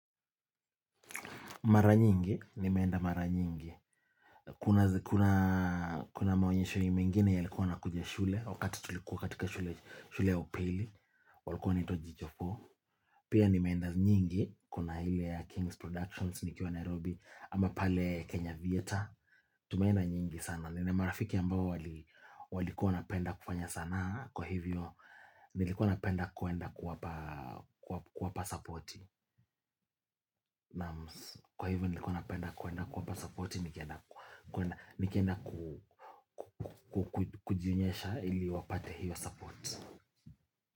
Mara nyingi, nimeenda mara nyingi, kuna maonyesho mingine yalikuwa nakuja shule, wakati tulikuwa katika shule ya upili, walikuwa jicho four Pia nimeenda nyingi, kuna ile ya King's Productions nikiwa Nairobi ama pale Kenya Theatre, tumeenda nyingi sana Nina marafiki ambao walikuwa wanapenda kufanya sanaa Kwa hivyo nilikuwa napenda kuenda kuwapa supporti Kwa hivyo nilikuwa napenda kuenda kuwapa supporti Nikienda kujinyesha ili wapate hiyo support.